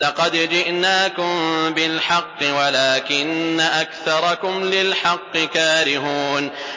لَقَدْ جِئْنَاكُم بِالْحَقِّ وَلَٰكِنَّ أَكْثَرَكُمْ لِلْحَقِّ كَارِهُونَ